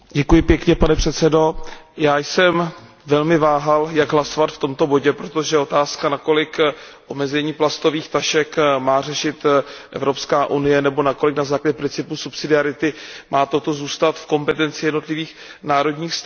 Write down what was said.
Pane předsedající, já jsem velmi váhal, jak hlasovat v tomto bodě, protože je otázkou, nakolik omezení plastových tašek má řešit Evropská unie nebo nakolik, na základě principu subsidiarity, má toto zůstat v kompetenci jednotlivých národních států.